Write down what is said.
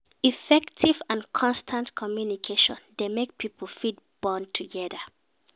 Effective and constant communication de make pipo fit bond together